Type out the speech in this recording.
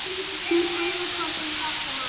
Hann spurði hvort hún þekkti hana.